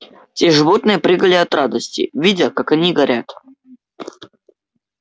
все животные прыгали от радости видя как они горят